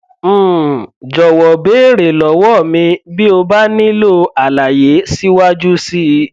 um jọwọ béèrè lọwọ mi bí o bá nílò àlàyé síwájú sí i